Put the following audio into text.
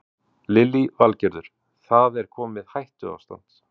Lillý Valgerður: Það er komið hættuástand?